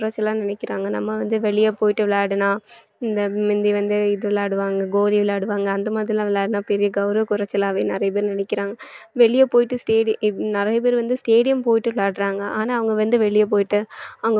குறைச்சலா நினைக்கிறாங்க நம்ம வந்து வெளிய போயிட்டு விளையாடினால் இந்த முந்தி வந்து இது விளையாடுவாங்க கோலி விளையாடுவாங்க அந்த மாதிரிலாம் விளையாடுனா பெரிய கௌரவ குறைச்சலாவே நிறைய பேர் நினைக்கிறாங்க வெளிய போயிட்டு stadi~ நிறைய பேர் வந்து stadium போயிட்டு விளையாடுறாங்க ஆனாஅவங்க வந்து வெளிய போயிட்டு